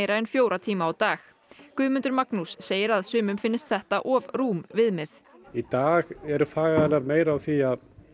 en fjóra tíma á dag Guðmundur Magnús segir að sumum finnist þetta of rúm viðmið í dag eru fagaðilar meira á því